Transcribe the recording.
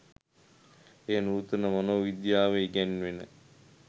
එය නූතන මනෝවිද්‍යාවේ ඉගැන්වෙන